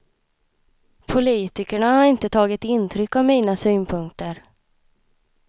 Politikerna har inte tagit intryck av mina synpunkter.